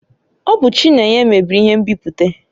Ọ bụ Chinenye mebiri ihe nbipute